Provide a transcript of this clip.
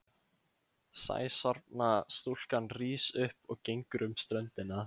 Sæsorfna stúlkan rís upp og gengur um ströndina.